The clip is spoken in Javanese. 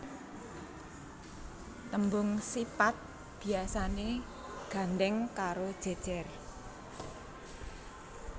Tembung sipat biasané gandhèng karo jejer